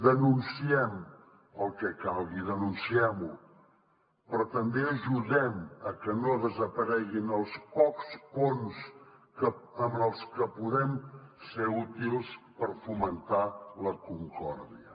denunciem el que calgui denunciem ho però també ajudem a que no desapareguin els pocs ponts amb els que podem ser útils per fomentar la concòrdia